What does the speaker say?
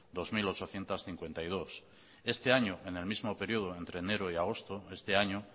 dos mil ochocientos cincuenta y dos este año en el mismo periodo entre enero y agosto este año